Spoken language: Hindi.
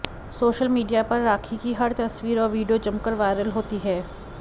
सोशल मीडिया पर राखी की हर तस्वीर और वीडियो जमकर वायरल होती है